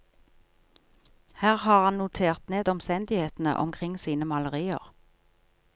Her har han notert ned omstendighetene omkring sine malerier.